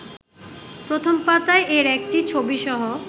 প্রথম পাতায় এর একটি ছবিসহ